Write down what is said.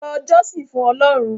lọ jọ́sìn fún Ọlọ́run!